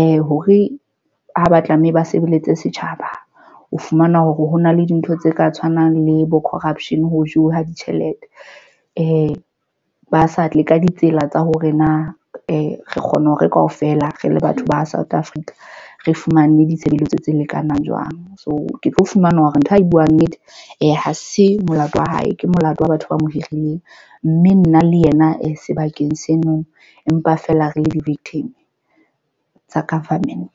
ea hore ha ba tlameha ba sebeletse setjhaba. O fumana hore hona le dintho tse ka tshwanang le bo corruption ho jewa ditjhelete ba sa tle ka ditsela tsa hore na re re kgona hore kaofela re le batho ba South Africa re fumane ditshebeletso tse lekanang jwang. So ke tlo fumana hore ntho a e buang. Nnete ee, ha se molato wa hae, ke molato wa batho ba mo hirileng mme nna le yena e sebakeng senono. Empa fela re le di victim tsa government.